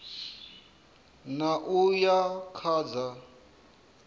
ṋ a uya kha dza